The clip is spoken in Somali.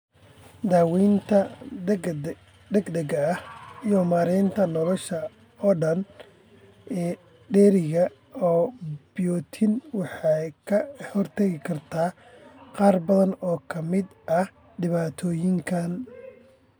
Daawaynta degdega ah iyo maaraynta nolosha oo dhan ee dheeriga ah biotin waxay ka hortagi kartaa qaar badan oo ka mid ah dhibaatooyinkan.